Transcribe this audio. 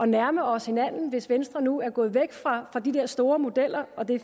nærme os hinanden hvis venstre nu er gået væk fra de der store modeller og det